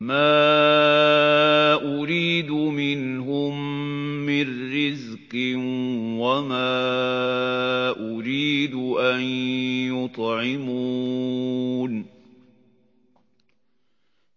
مَا أُرِيدُ مِنْهُم مِّن رِّزْقٍ وَمَا أُرِيدُ أَن يُطْعِمُونِ